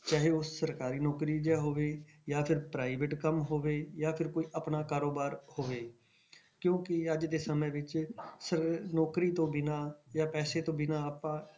ਚਾਹੇ ਉਹ ਸਰਕਾਰੀ ਨੌਕਰੀ ਜਿਹਾ ਹੋਵੇ ਜਾਂ ਫਿਰ private ਕੰਮ ਹੋਵੇ ਜਾਂ ਫਿਰ ਕੋਈ ਆਪਣਾ ਕਾਰੋਬਾਰ ਹੋਵੇ ਕਿਉਂਕਿ ਅੱਜ ਦੇ ਸਮੇਂ ਵਿੱਚ ਸਰ~ ਨੌਕਰੀ ਤੋਂ ਬਿਨਾਂ ਜਾਂ ਪੈਸੇ ਤੋਂ ਬਿਨਾਂ ਆਪਾਂ,